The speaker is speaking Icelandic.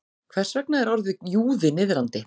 Hvers vegna er orðið júði niðrandi?